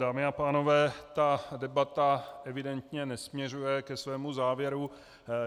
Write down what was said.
Dámy a pánové, ta debata evidentně nesměřuje ke svému závěru.